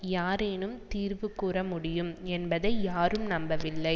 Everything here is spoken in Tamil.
யாரேனும் தீர்வு கூற முடியும் என்பதை யாரும் நம்பவில்லை